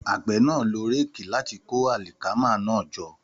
Àgbẹ̀ náà lo réèkì láti kó àlìkámà náà jọ